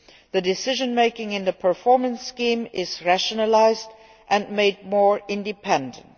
The decision making in the performance scheme is rationalised and made more independent.